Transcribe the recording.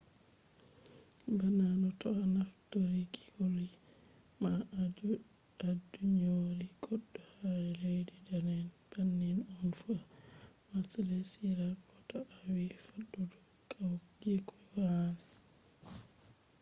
bana no to a naftiri koli ma a ɗyoni goɗɗo ha leddi dane’en bannin on fu ha malesiya ko to a wi fattude kawyeku male